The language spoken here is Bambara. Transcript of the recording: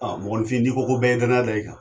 A mɔgɔninfin ko ko bɛ ye danaya da i kan